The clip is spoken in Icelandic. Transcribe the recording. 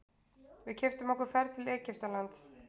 Við keyptum okkur ferð til Egyptalands.